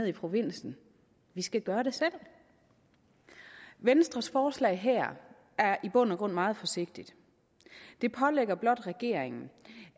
i provinsen vi skal gøre det selv venstres forslag her er i bund og grund meget forsigtigt det pålægger blot regeringen